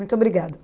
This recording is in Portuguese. Muito obrigada.